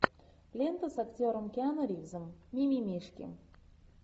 лента с актером киану ривзом мимимишки